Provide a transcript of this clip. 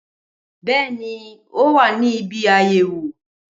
Bẹẹni, ọ wa ní ìbí ayéwò.